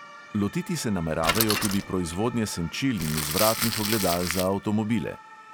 Lotiti se nameravajo tudi proizvodnje senčil in vzvratnih ogledal za avtomobile.